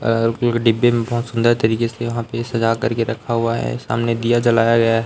अह डिब्बे में बहुत सुंदर तरीके से यहां पे सजा करके रखा हुआ है सामने दिया जलाया गया है।